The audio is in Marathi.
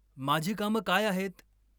माझी कामं काय आहेत?